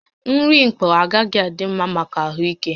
Nri mkpọ agaghị adị mma maka ahụ ike